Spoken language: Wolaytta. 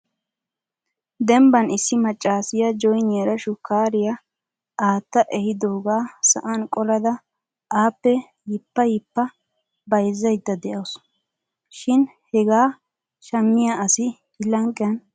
Dembban issi maccassiya jooniyaara shukkariya aatta ehidooga sa'an qolada appe yippa yippa bayzzaydda de'awusu. Shin hegaa shammiya asi I lanqqiyan beettena.